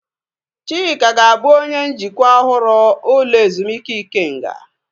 Chika ga-abụ onye njikwa ọhụrụ ụlọ ezumike Ikenga